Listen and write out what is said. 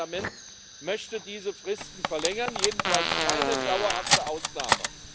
Und das Parlament möchte diese Fristen verlängern, jedenfalls keine dauerhafte Ausnahme.